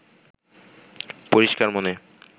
পরিষ্কার মনে